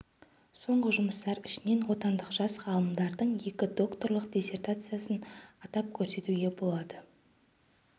соңғы жұмыстар ішінен отандық жас ғалымдардың екі докторлық диссертациясын атап көрсетуге болады